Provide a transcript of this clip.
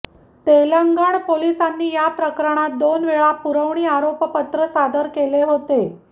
तेलंगण पोलिसांनी या प्रकरणात दोन वेळा पुरवणी आरोपपत्र सादर केले होते